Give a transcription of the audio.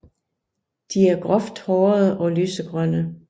De er groft hårede og lysegrønne